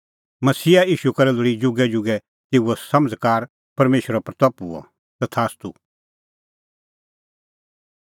मसीहा ईशू करै लोल़ी जुगैजुगै तेऊ समझ़कार परमेशरे महिमां हुई तथास्तू